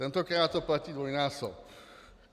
Tentokrát to platí dvojnásob.